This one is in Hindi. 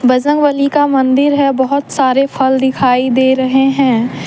बजरंगबली का मंदिर है बहुत सारे फल दिखाई दे रहे हैं।